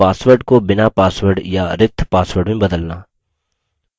password को बिना password या रिक्त password में बदलना